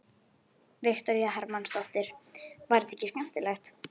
Viktoría Hermannsdóttir: Var þetta skemmtilegt?